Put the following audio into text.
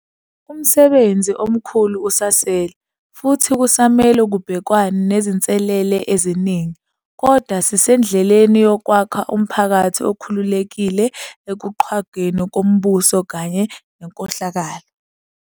Umsebenzi omkhulu usasele, futhi kusamele kubhekwane nezinselele eziningi. Kodwa sisendleleni yokwakha umphakathi okhululekile ekuqhwagweni kombuso kanye nenkohlakalo.